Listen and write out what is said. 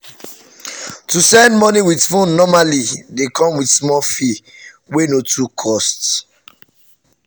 to send money with phone normally dey come with small fee wey no too cost.